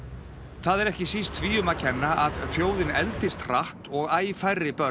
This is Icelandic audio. það er ekki síst því um að kenna að þjóðin eldist hratt og æ færri börn